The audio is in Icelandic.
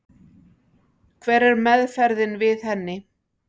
Hver er meðferðin við henni?